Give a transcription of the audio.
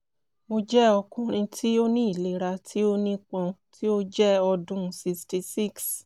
mo jẹ ọkunrin ti o ni ilera ti o nipọn ti o jẹ ọdun 66